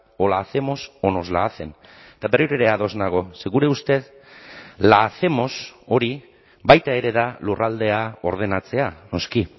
o la hacemos o nos la hacen eta berriro ere ados nago ze gure ustez la hacemos hori baita ere da lurraldea ordenatzea noski